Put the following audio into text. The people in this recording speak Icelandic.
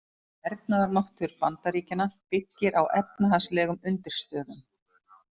Hernaðarmáttur Bandaríkjanna byggir á efnahagslegum undirstöðum.